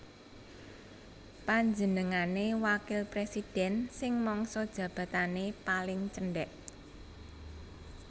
Panjenengane wakil presiden sing mangsa jabatane paling cendek